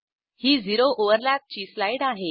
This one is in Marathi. ही झिरो ओव्हरलॅप ची स्लाईड आहे